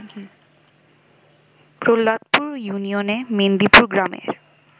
প্রহ্লাদপুর ইউনিয়নে মেন্দিপুর গ্রামের